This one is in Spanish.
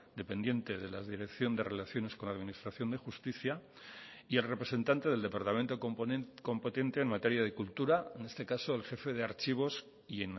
dependiente de la dirección de relaciones con la administración de justicia y el representante del departamento competente en materia de cultura en este caso el jefe de archivos y